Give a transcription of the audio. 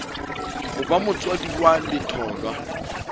ho ba motswadi wa letholwa